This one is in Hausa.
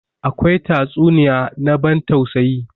Akwai tatsuniya na ban tausayi.